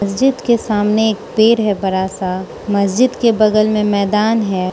मस्जिद के सामने एक पेड़ है बड़ासा मस्जिद के बगल मे मैदान हैं।